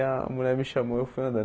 A mulher me chamou eu fui andando.